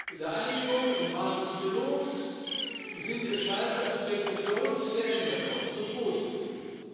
In der Einigung im Rahmen des Trilogs sind entscheidende Aspekte für uns geändert worden zum Positiven.